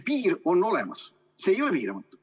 Piir on olemas, see ei ole piiramatu.